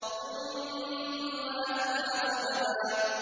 ثُمَّ أَتْبَعَ سَبَبًا